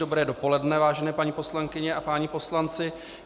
Dobré dopoledne, vážené paní poslankyně a páni poslanci.